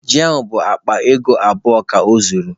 Ji ahụ bụ akpa ego abụọ ka ọ zụrụ